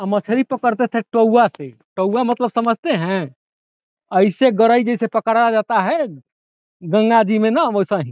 मछरी पकड़ते थे टउवा से | टउवा मतलब समझते हैं अईसे गरई जईसे पकड़ा जाता है गंगा जी में न वैसाही |